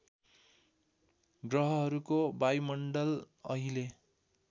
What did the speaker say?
ग्रहहरूको वायुमण्डल अहिले